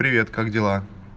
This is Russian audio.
привет как дела